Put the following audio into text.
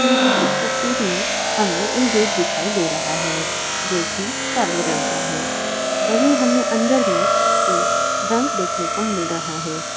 ली गयी इस तस्वीर में हमें एक गेट दिखाई दे रहा है जो कि काले रंग का है वहीं हमें अन्दर में एक बैंक देखने को मिल रहा है।